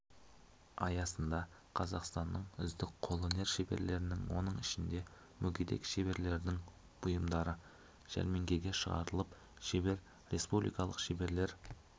аясында қазақстанның үздік қолөнер шеберлерінің оның ішінде мүгедек шеберлердің бұйымдары жәрмеңкеге шығарылып шебер республикалық шеберлер